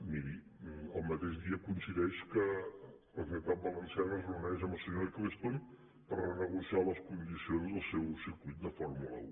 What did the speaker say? miri el mateix dia coincideix que la generalitat valenciana es reuneix amb el senyor ecclestone per renegociar les condicions del seu circuit de fórmula un